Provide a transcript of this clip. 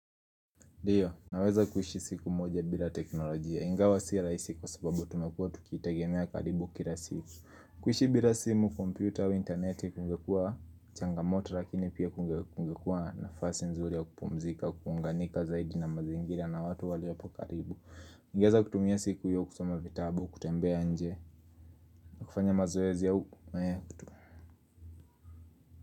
Ndio, naweza kuishi siku moja bila teknolojia. Ingawa sio rahisi kwa sababu tumekuwa tukitegemea karibu kila siku. Kuishi bila simu, kompyuta au interneti, kungekua, changamoto, lakini pia kungekua nafasi nzuri ya kupumzika, kuunganika zaidi na mazingira na watu waliopo karibu. Ningeweza kutumia siku hiyo kusoma vitabu, kutembea nje. Na kufanya mazoezi au.